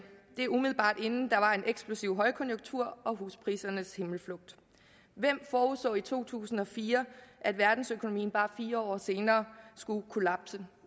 det er umiddelbart inden der var en eksplosiv højkonjunktur og husprisernes himmelflugt hvem forudså i to tusind og fire at verdensøkonomien bare fire år senere skulle kollapse